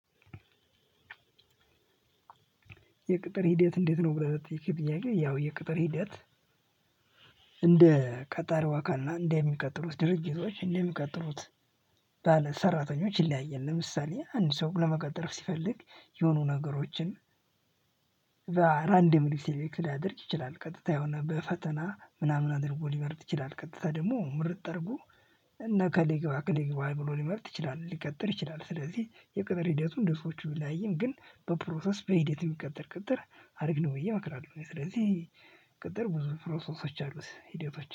የቅጥር ሂደት እንዴት ነው ብለህ ስትል ጥያቄ፤ ያው የቅጥር ሂደት፤ እንደ ቀጣሪዋ ቀና እንደሚቀጥሉት ድርጅቶች እንደ የሚቀጥሉት ባለ ሰራተኞች ይለያያል፤ ለምሳሌ፣ አንድ ሰው ለመቀጠር ሲፈልግ የሆኑ ነገሮችን በራንደምሊ ሴሌክት ሊያደርግ ይችላል፤ ቀጥታ የሆነ በፈተና ምናምን አድርጎ ሊመርጥ ይችላል፤ ቀጥታ ደግሞ ምርጥ አርጎ እነ ከሌ ይግባ፣ እከሌ ይግባ፣ ብሎ ሊመርጥ ይችላል ሊቀጥር ይችላል፤ ስለዚህ የቅጥር ሂደቱ እንደ ሰዎቹ ቢለያይም፣ ግን በፕሮሰስ በሂደት የሚቀጥር ቅጥር አሪፍ ነው ብዬ እመክራለሁ፤ ስለዚህ ቅጥር ብዙ ፕሮሰሶች አሉት፤ ሂደቶች